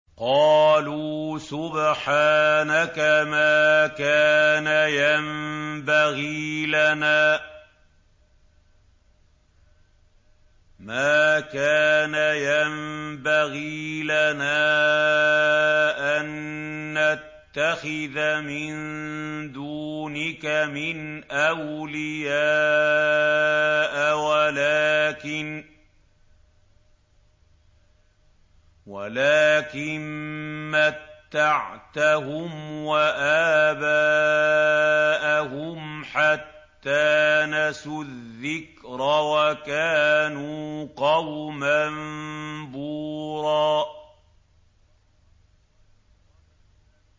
قَالُوا سُبْحَانَكَ مَا كَانَ يَنبَغِي لَنَا أَن نَّتَّخِذَ مِن دُونِكَ مِنْ أَوْلِيَاءَ وَلَٰكِن مَّتَّعْتَهُمْ وَآبَاءَهُمْ حَتَّىٰ نَسُوا الذِّكْرَ وَكَانُوا قَوْمًا بُورًا